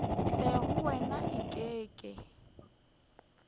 tle go wena eke ke